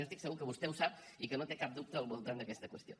jo estic segur que vostè ho sap i que no té cap dubte al voltant d’aquesta qüestió